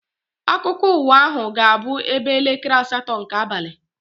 Akụkọ ụwa ahụ ga-abụ ebe elekere asatọ nke abalị.